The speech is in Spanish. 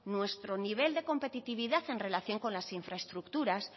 nuestro nivel de competitividad en relación con las infraestructuras